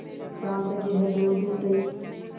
शाम तक यह दौड़धूप रही